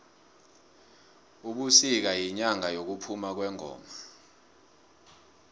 ubisika yinyanga yekuphuma kwengoma